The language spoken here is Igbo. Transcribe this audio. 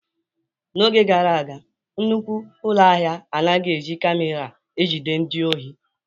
N'oge gara aga, nnukwu ụlọ ahịa anaghị eji camera ejide ndị ohi.